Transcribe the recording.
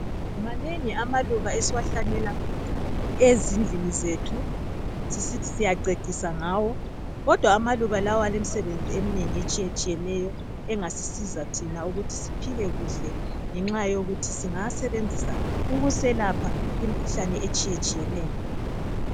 Manengi amaluba esiwahlanyela ezindlini zethu sisithi siyacecisa ngawo kodwa amaluba lawa alemisebenzi eminengi etshiye tshiyeneyo engasisiza thina ukuthi siphile kuhle ngenxa yokuthi singawa sebenzisa ukuselapha imikhuhlane etshiye tshiyeneyo.